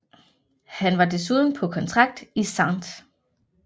Han var desuden på kontrakt i St